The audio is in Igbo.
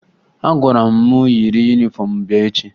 A gwara mụ yiri yunifọmụ m bịa echi